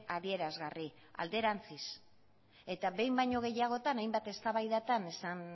adierazgarri alderantziz eta behin baino gehiagotan hainbat eztabaidatan esan